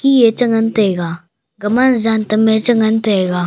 ye che ngan taiga gama jan tam e che ngan taiga.